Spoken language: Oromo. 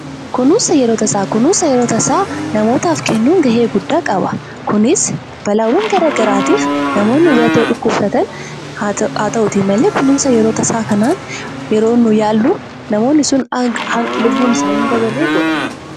Kunuunsa yeroo tasaa: Kunuunsa yeroo tasaa namootaaf kennuun gahee guddaa qaba. Kunis balaawwan garaa garaatiif namoonni kan dhukkubsatan haa ta'uutii malee, kunuunsa yerooo tasaa kanaan yeroo nuyi yaallu namoonni sun lubbuun isaanii hin dabarre godha.